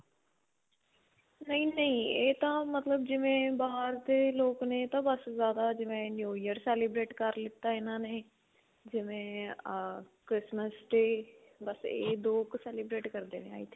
ਨਹੀਂ-ਨਹੀਂ, ਇਹ ਤਾਂ ਮਤਲਬ ਜਿਵੇਂ ਬਾਹਰ ਦੇ ਲੋਕ ਨੇ ਇਹ ਤਾਂ ਬਸ ਜਿਆਦਾ ਜਿਵੇਂ new year celebrate ਕਰ ਲਿੱਤਾ ਇਨ੍ਹਾਂ ਨੇ, ਜਿਵੇਂ ਅਅ christmas-day ਬਸ ਇਹ ਦੋ ਕ celebrate ਕਰਦੇਂ ਨੇ i think.